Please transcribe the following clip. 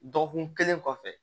Dɔgɔkun kelen kɔfɛ